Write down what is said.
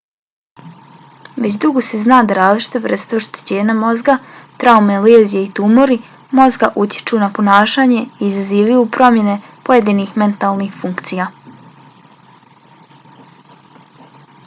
već dugo se zna da različite vrste oštećenja mozga traume lezije i tumori mozga utječu na ponašanje i izazivaju promjene pojedinih mentalnih funkcija